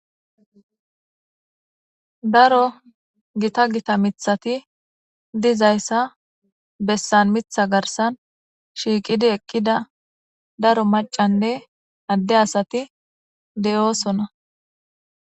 Daro gita gita mithati dizayssa bessan mitha garsan shiiqidi eqqida daro macanne adde asati 'oosona